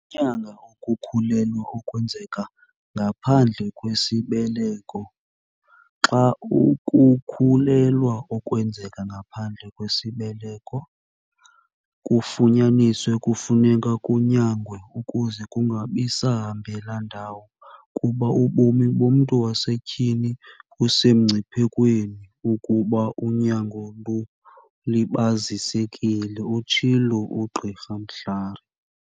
Ukunyanga ukukhulelwa okwenzeka ngaphandle kwesibeleko "Xa ukukhulelwa okwenzeka ngaphandle kwesibeleko kufunyanisiwe kufuneka kunyangwe ukuze kungabi sahambela ndawo, kuba ubomi bomntu wasetyhini busemngciphekweni ukuba unyango lulibazisekile," utshilo uGqr Mhlari.